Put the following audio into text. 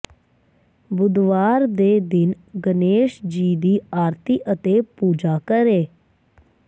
ਬੁੱਧਵਾਰ ਦੇ ਦਿਨ ਗਣੇਸ਼ਜੀ ਦੀ ਆਰਤੀ ਅਤੇ ਪੂਜਾ ਕਰੇ